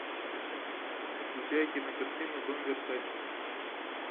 включай кинокартину дом версаче